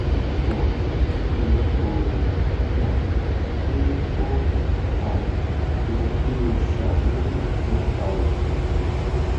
um emi ko ro um pe o um yẹ ki o ṣàníyàn nipa rẹ